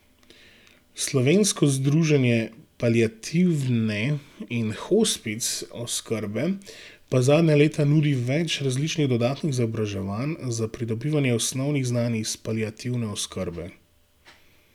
Slovensko združenje paliativne in hospic oskrbe pa zadnja leta nudi več različnih dodatnih izobraževanj za pridobivanje osnovnih znanj iz paliativne oskrbe.